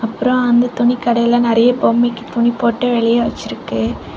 அப்பறம் அந்த துணிக்கடைல நெறய பொம்மைக்கு துணி போட்டு வெளிய வெச்சிருக்கு.